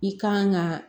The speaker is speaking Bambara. I kan ka